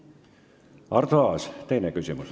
Arto Aas, teine küsimus.